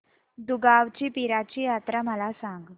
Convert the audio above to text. दुगावची पीराची यात्रा मला सांग